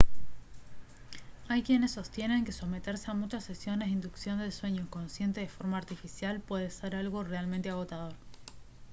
hay quienes sostienen que someterse a muchas sesiones de inducción del sueño consciente de forma artificial puede ser algo realmente agotador